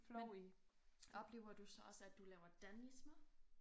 Men oplever du så også at du laver danismer?